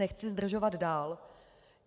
Nechci zdržovat dál.